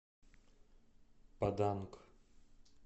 паданг